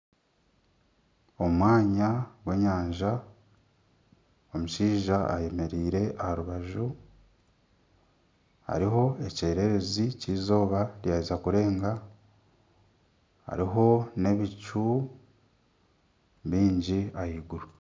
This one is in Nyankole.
Omwanya gw'enyanja omushaija ayemereire aha rubaju. Hariho ekyererezi ky'eizooba ryaheza kurenga hariho n'ebicu bingi ahaiguru.